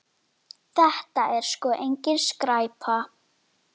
Hún þarf ekki rýting.